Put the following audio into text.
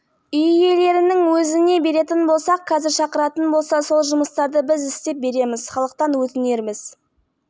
топтық кезеңнің үшінші турының матчы қазақстан еордасында өтіп есебімен алаң иелерінің пайдасына шешілді патрик твумаси мен